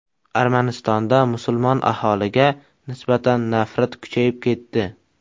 Armanistonda musulmon aholiga nisbatan nafrat kuchayib ketdi.